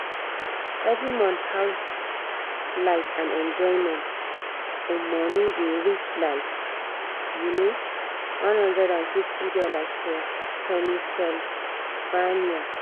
every month house light and enjoyment um money dey reach like um $150 for pennsylvania